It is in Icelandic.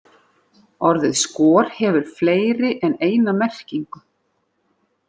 Orðið skor hefur fleiri en eina merkingu.